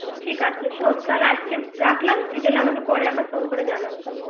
ঠিক আছে শোন আজকে রাখলাম তুই তাহলে পরে আমাকে ফোন করে জানাবি